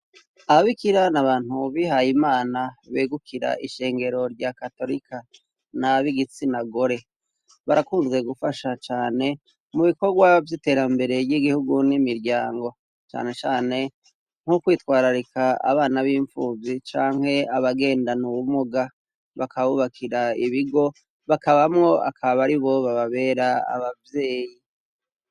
Ababikira n' abantu bihay' Imana begukira ishengero rya katorika na b'igitsina gore, barakunze gufasha cane mu bikorwa vy'iterambere ry'igihugu n'imiryango cane cane nk'ukwitwararika abana b'impfuvyi canke abagenda n'ubumuga, bakabubakira ibigo bakabamwo akabaribo bababera abavyeyi.